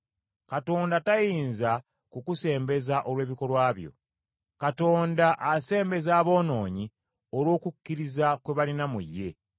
Katonda tayinza kukusembeza olw’ebikolwa byo. Katonda asembeza aboonoonyi olw’okukkiriza kwe balina mu ye.